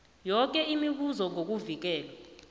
yoke imibuzo ngokuvikelwa